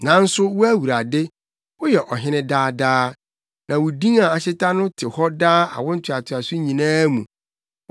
Nanso wo Awurade, woyɛ ɔhene daa daa; na wo din a ahyeta no te hɔ daa awo ntoatoaso nyinaa mu.